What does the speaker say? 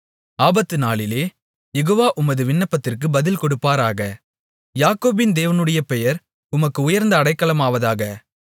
ஆபத்துநாளிலே Jehovah உமது விண்ணப்பத்திற்குப் பதில்கொடுப்பாராக யாக்கோபின் தேவனுடைய பெயர் உமக்கு உயர்ந்த அடைக்கலமாவதாக